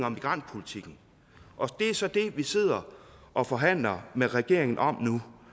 og migrantpolitikken og det er så det vi sidder og forhandler med regeringen om nu